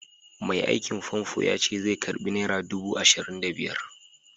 Mai aikin famfo yace zai karɓi nera dubu ashirin da biyar.